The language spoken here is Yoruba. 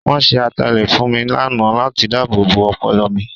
Wọ́n ṣe ataalẹ̀ fún mi lánàá láti dáàbòbo ọpọlọ mi.